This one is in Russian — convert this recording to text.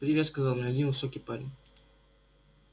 привет сказал мне один высокий парень